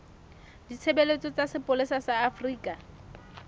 ditshebeletso tsa sepolesa sa afrika